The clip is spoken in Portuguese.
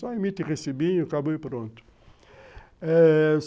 Só emite e recebinho e acabou e pronto.